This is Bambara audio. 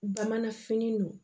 Bamanan fini don